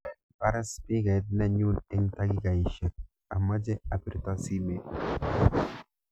Baar spikait nenyun eng takikaishek amache apirte simet